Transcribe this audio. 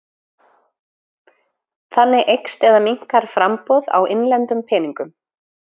Þannig eykst eða minnkar framboð á innlendum peningum.